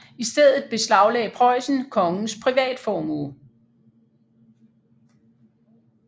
I stedet beslagde Preussen kongens privatformue